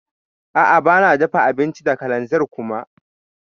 A'a bana dafa abinci da kalanzir kuma.